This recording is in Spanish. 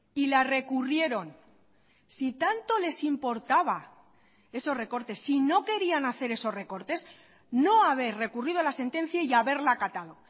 y la recurrieron si tanto les importaba esos recortes si no querían hacer esos recortes no haber recurrido la sentencia y haberla acatado